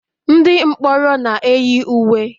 ndị mkpọrọ na-eyi uwe